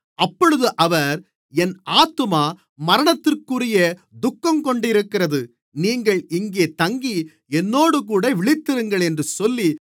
அப்பொழுது அவர் என் ஆத்துமா மரணத்திற்குரிய துக்கங்கொண்டிருக்கிறது நீங்கள் இங்கே தங்கி என்னோடுகூட விழித்திருங்கள் என்று சொல்லி